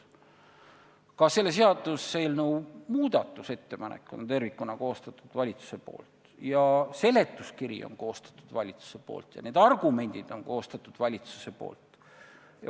Ka selle seaduseelnõu muudatusettepanekud on tervikuna koostanud valitsus, seletuskirja on koostanud valitsus ja need argumendid on koostanud valitsus.